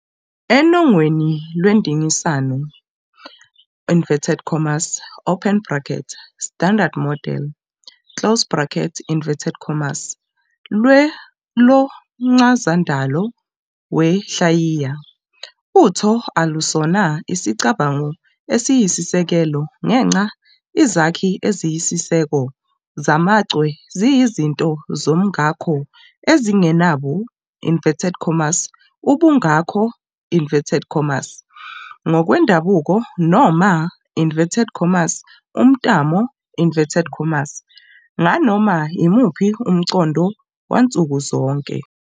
Enongweni lwendinganiso "Standard Model" lomchazandalo wenhlayiya, utho alusona isicabango esiyisisekelo ngenxa izakhi eziyisiseko zamachwe ziyizinto zomngako ezingenabo "ubungako" ngokwendabuko noma "umthamo" nganoma imuphi umqondo wansuku zonke.